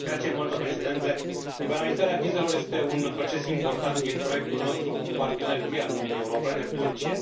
Domnule președinte, liberalizarea vizelor este un nou proces important din proiectul nostru cu un partener cheie al Uniunii Europene, Turcia.